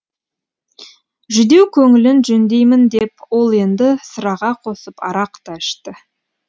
жүдеу көңілін жөндеймін деп ол енді сыраға қосып арақ та ішті